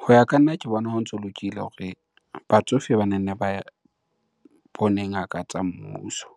Ho ya ka nna, ke bona ho ntso lokile hore batsofe bane nne ba bone ngaka tsa mmuso